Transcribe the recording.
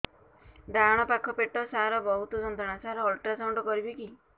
ଡାହାଣ ପାଖ ପେଟ ସାର ବହୁତ ଯନ୍ତ୍ରଣା ସାର ଅଲଟ୍ରାସାଉଣ୍ଡ କରିବି କି